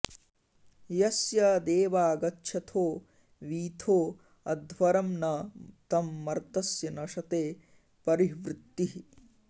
यस्य॑ देवा॒ गच्छ॑थो वी॒थो अ॑ध्व॒रं न तं मर्त॑स्य नशते॒ परि॑ह्वृतिः